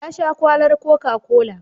Ya sha kwalar cocacola.